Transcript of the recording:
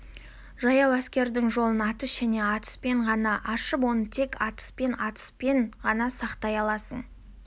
жаяу әскердің жолын атыс және атыспен ғана ашып оны тек атыспен атыспен ғана сақтай аласың